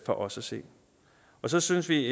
for os at se så synes vi